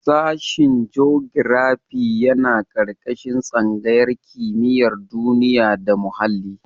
Sashen jogirafi yana ƙarƙashin tsangayar kimiyar duniya da muhalli.